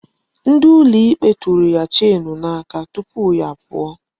Ndị ụlọ ikpe tụrụ ya cheenu n'aka duputa ya.